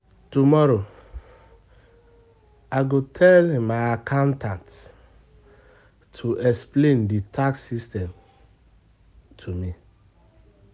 Tomorrow, I go tell my accountant to explain di tax system to me.